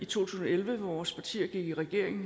tusind og elleve hvor vores partier gik i regering